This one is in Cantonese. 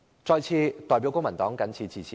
我謹代表公民黨陳辭。